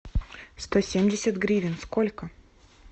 сто семьдесят гривен сколько